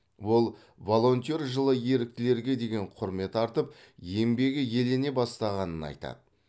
ол волонтер жылы еріктілерге деген құрмет артып еңбегі елене бастағанын айтады